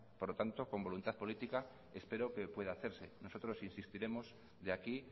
por lo tanto con voluntad política espero que pueda hacerse nosotros insistiremos de aquí